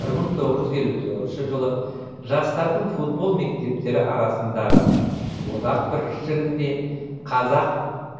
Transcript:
бір мың тоғыз жүз елу тоғызыншы жылы жастардың футбол мектептері арасындағы одақ біріншілігінде қазақ